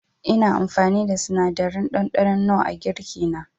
Ina amfani da sinadarin ɗanɗanon nor a girki na.